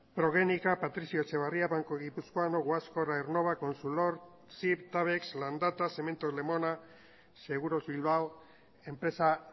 progenika patricio etxebarria banco guipuzcoano guascor aernnova tabex landata cementos lemona seguros bilbao